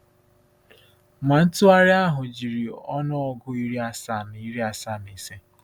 Ma ntụgharị ahụ jiri ọnụọgụ iri asaa na iri asaa na ise.